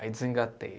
Aí desengatei.